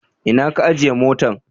Ina ka ajiye motan?